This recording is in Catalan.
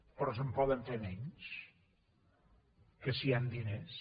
però se’n poden fer menys que si hi han diners